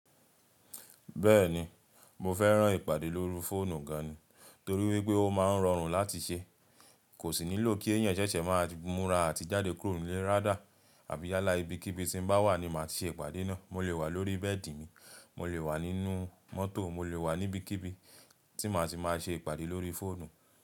Bẹ́ẹ̀ni, mo fẹ́ràn ìpàdé lórí fóònù gan ni, torí wípé ó máa ń rọrùn láti ṣe. Kò sì nílò kí ẹ̀yàn ṣẹ̀ṣẹ̀ máa múra àti jáde kúrò nílé rádà, àbí yálà ibikíbi tí mo bá wà ni màá ṣe ìpàdé náà. Mo lè wà lórí bẹ́ẹ̀dì mi, mo lè wà nínú mọ́tò, mo lè wà níbikíbi tí màá ṣe máa ṣe ìpàdé lórí fóònù.